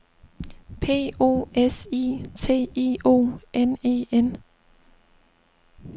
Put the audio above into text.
P O S I T I O N E N